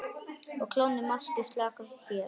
Á klónni máski slaka hér.